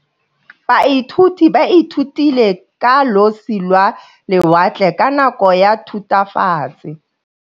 Baithuti ba ithutile ka losi lwa lewatle ka nako ya Thutafatshe.